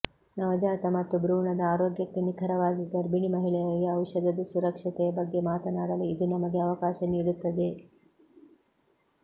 ನವಜಾತ ಮತ್ತು ಭ್ರೂಣದ ಆರೋಗ್ಯಕ್ಕೆ ನಿಖರವಾಗಿ ಗರ್ಭಿಣಿ ಮಹಿಳೆಯರಿಗೆ ಔಷಧದ ಸುರಕ್ಷತೆಯ ಬಗ್ಗೆ ಮಾತನಾಡಲು ಇದು ನಮಗೆ ಅವಕಾಶ ನೀಡುತ್ತದೆ